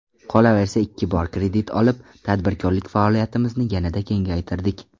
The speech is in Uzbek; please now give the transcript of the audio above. Qolaversa ikki bor kredit olib, tadbirkorlik faoliyatimizni yanada kengaytirdik.